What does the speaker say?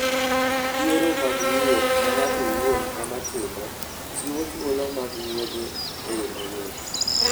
Yiero mag wuoth ma ng'ato owuon ema timo, chiwo thuolo mag wuoth e yo mayot.